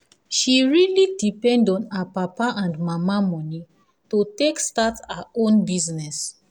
she really depend on her papa and mama money to take start her own business.